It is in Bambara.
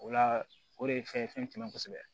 O la o de ye fɛn ye fɛn tɛ tɛmɛ kosɛbɛ